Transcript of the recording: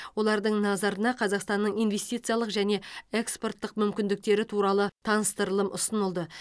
олардың назарына қазақстанның инвестициялық және экспорттық мүмкіндіктері туралы таныстырылым ұсынылды